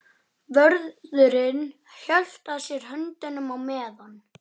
Vörðurinn hélt að sér höndum á meðan